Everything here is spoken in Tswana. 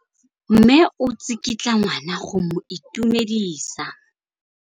Mme o tsikitla ngwana go mo itumedisa.